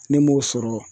Ne m'o sɔrɔ